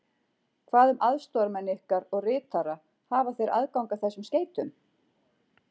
Hvað um aðstoðarmenn ykkar og ritara hafa þeir aðgang að þessum skeytum?